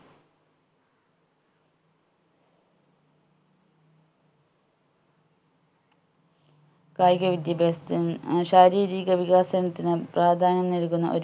കായിക വിദ്യാഭ്യാസത്തിനും ഏർ ശാരീരിക വികസനത്തിനും പ്രാധാന്യം നൽകുന്ന ഒ